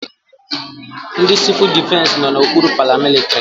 Ndị civul defesi nọ n'okpuru paramilitrị.